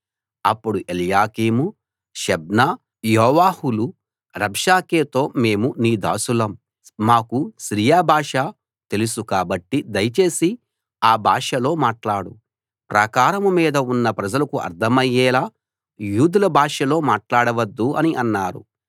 అప్పుడు ఎల్యాకీము షెబ్నా యోవాహులు రబ్షాకేతో మేము నీ దాసులం మాకు సిరియా భాష తెలుసు కాబట్టి దయచేసి ఆ భాషలో మాట్లాడు ప్రాకారం మీద ఉన్న ప్రజలకు అర్థమయ్యేలా యూదుల భాషలో మాట్లాడవద్దు అని అన్నారు